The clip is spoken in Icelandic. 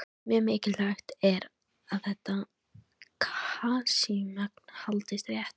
Mjög mikilvægt er að þetta kalsíummagn haldist rétt.